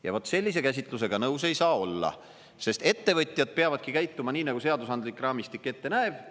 Ja vot sellise käsitlusega nõus ei saa olla, sest ettevõtjad peavadki käituma nii, nagu seadusandlik raamistik ette näeb.